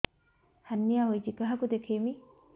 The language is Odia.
ହାର୍ନିଆ ହୋଇଛି କାହାକୁ ଦେଖେଇବି